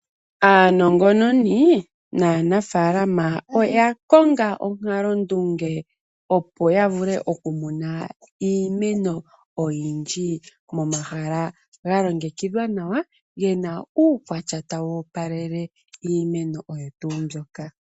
Aanongononi naanafaalama oyakonga onkalondunge opo yavule okumuna iimeno oyindji momahala galingekidhwa nawa gena uukwatya tawu opalele iimeno oyo tuundjoka.